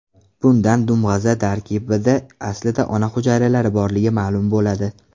Bundan dumg‘aza tarkibida aslida ona hujayralari borligi ma’lum bo‘ladi.